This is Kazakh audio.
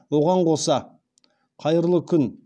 оған қоса қайырлы күн